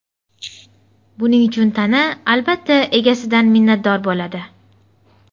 Buning uchun tana, albatta, egasidan minnatdor bo‘ladi”.